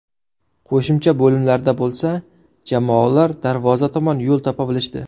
Qo‘shimcha bo‘limlarda bo‘lsa jamoalar darvoza tomon yo‘l topa bilishdi.